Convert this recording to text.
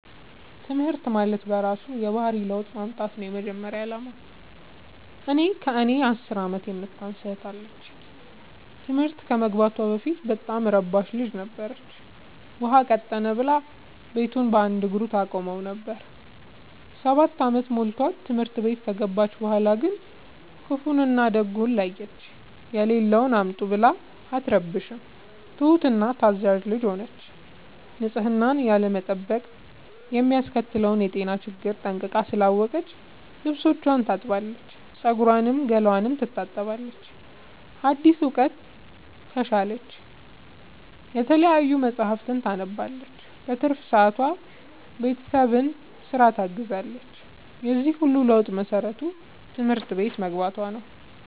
ትምህርት ማለት በእራሱ የባህሪ ለውጥ ማምጣት ነው የመጀመሪያ አላማው። እኔ ከእኔ አስር አመት የምታንስ እህት አለችኝ ትምህርት ከመግባቷ በፊት በጣም እረባሽ ልጅ ነበረች። ውሃ ቀጠነ ብላ ቤቱን በአንድ እግሩ ታቆመው ነበር። ሰባት አመት ሞልቶት ትምህርት ቤት ከገባች በኋላ ግን ክፋውን እና ደጉን ለየች። የሌለውን አምጡ ብላ አትረብሽም ትሁት እና ታዛዣ ልጅ ሆነች ንፅህናን ያለመጠበቅ የሚያስከትለውን የጤና ችግር ጠንቅቃ ስላወቀች ልብስቿን ታጥባለች ፀጉሯን ገላዋን ትታጠባለች አዲስ እውቀት ትሻለች የተለያዩ መፀሀፍትን ታነባለች በትርፍ ሰዓቷ ቤተሰብን ስራ ታግዛለች የዚህ ሁሉ ለውጥ መሰረቱ ትምህርት ቤት መግባቶ ነው።